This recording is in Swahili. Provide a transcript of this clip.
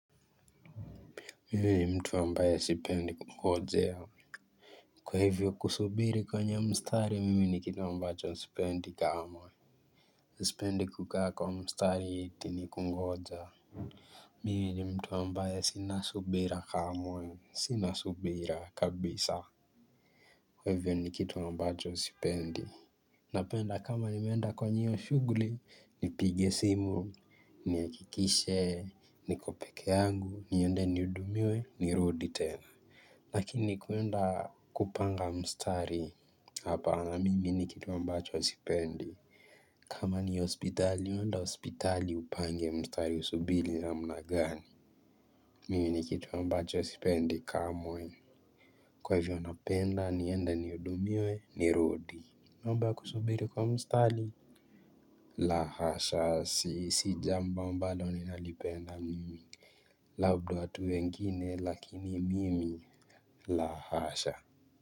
Mimi ni mtu ambaye sipendi kungojea. Kwa hivyo kusubiri kwenye mstari mimi ni kitu ambacho sipendi kamwe. Sipendi kukaa kwa mstari eti nikungoja mimi ni mtu ambaye sina subira kamwe sina subira kabisa. Kwa hivyo nikituwa ambacho sipendi. Napenda kama nimenda kwenye hio shuguli, nipige simu, nihakikishe, niko peke yangu, niende nihudumiwe, nirudi tena. Lakini kuenda kupanga mstari hapana mimi ni kitu ambacho sipendi. Kama ni hospitali enda hospitali upange mstari usubili namna gani. Mimi nikitu ambacho sipendi kamwe. Kwa hivyo napenda niende nihudumiwe nirudi. Mamba kusubili kwa mstari. La hasha si si jambo ambalo ninalipenda mimi. Labda watu wengine lakini mimi lahasha.